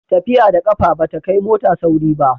tafiya da ƙafa ba ta kai mota sauri ba